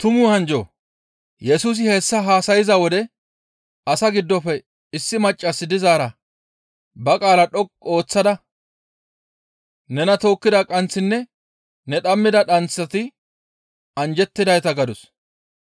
Yesusi hessa haasayza wode asaa giddofe issi maccas dizaara ba qaala dhoqqu ooththada, «Nena tookkida qanththinne ne dhammida dhanththati anjjettidayta» gadus.